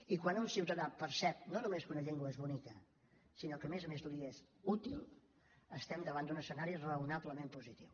i quan un ciutadà percep no només que una llengua és bonica sinó que a més a més li és útil estem davant d’un escenari raonablement positiu